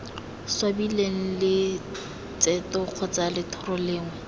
swabileng letseto kgotsa lethoro lengwe